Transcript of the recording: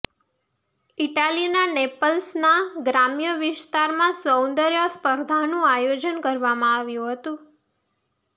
ઈટાલીના નેપલ્સના ગ્રામ્ય વિસ્તારમાં સૌંદર્યસ્પર્ધાનું આયોજન કરવામાં આવ્યું હતું